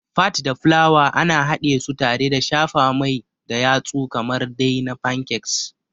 Fat da fulawa ana hadesu tare da shafa mai da yatsu kamar dai na Pancakes.